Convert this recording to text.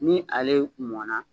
Ni ale mɔnna.